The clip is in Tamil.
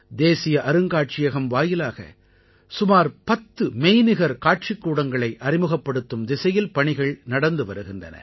தேசிய அருங்காட்சியகம் வாயிலாக சுமார் 10 மெய்நிகர் காட்சிக்கூடங்களை அறிமுகப்படுத்தும் திசையில் பணிகள் நடந்து வருகின்றன